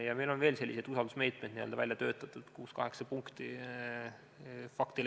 Ja meil on veel selliseid usaldusmeetmeid välja töötatud, kuus-seitse-kaheksa punkti.